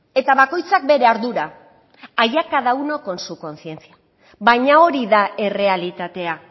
eta bakoitzak bere ardura allá cada uno con su conciencia baina hori da errealitatea